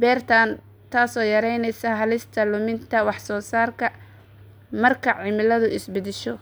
beertaan taasoo yareyneysa halista luminta wax soo saarka marka cimiladu is beddesho.